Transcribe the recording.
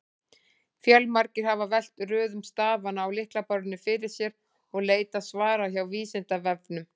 Fjölmargir hafa velt röðun stafanna á lyklaborðinu fyrir sér og leitað svara hjá Vísindavefnum.